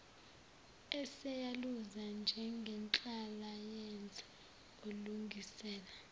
eseyaluza njengenhlalayenza elungisela